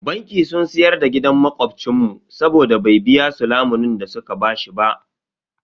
Banki sun siyar da gidan makobcin mu saboda bai biya su lamunin da su ka bashi ba.